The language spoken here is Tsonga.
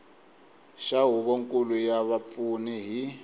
xa huvonkulu ya vapfuni hi